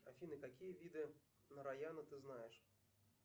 афина какие виды нараяна ты знаешь